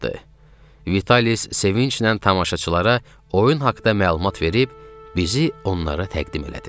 Vitalis sevincdən tamaşaçılara oyun haqda məlumat verib bizi onlara təqdim elədi.